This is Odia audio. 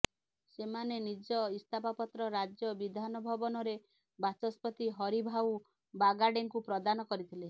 ସେମାନେ ନିଜ ଇସ୍ତଫାପତ୍ର ରାଜ୍ୟ ବିଧାନ ଭବନରେ ବାଚସ୍ପତି ହରିଭାଉ ବାଗାଡେଙ୍କୁ ପ୍ରଦାନ କରିଥିଲେ